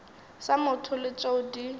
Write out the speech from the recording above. sa motho le tšeo di